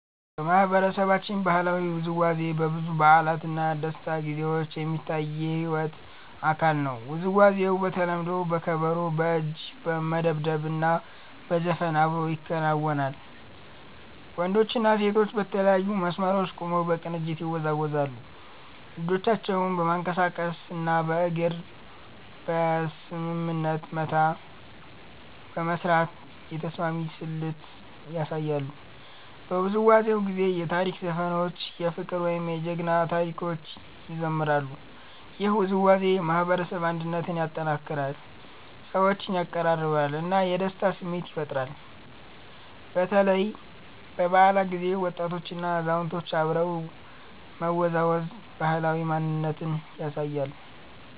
በማህበረሰባችን ባህላዊ ውዝዋዜ በብዙ በዓላት እና ደስታ ጊዜዎች የሚታይ የሕይወት አካል ነው። ውዝዋዜው በተለምዶ በከበሮ፣ በእጅ መደብደብ እና በዘፈን አብሮ ይከናወናል። ወንዶችና ሴቶች በተለያዩ መስመሮች ቆመው በቅንጅት ይወዛወዛሉ፣ እጆቻቸውን በማንቀሳቀስ እና በእግር በስምምነት መታ በመስራት የተስማሚ ስልት ያሳያሉ። በውዝዋዜው ጊዜ የታሪክ ዘፈኖች፣ የፍቅር ወይም የጀግና ታሪኮች ይዘምራሉ። ይህ ውዝዋዜ የማህበረሰብ አንድነትን ያጠናክራል፣ ሰዎችን ያቀራርባል እና የደስታ ስሜት ይፈጥራል። በተለይ በበዓላት ጊዜ ወጣቶችና አዛውንቶች አብረው መወዛወዝ ባህላዊ ማንነትን ያሳያል።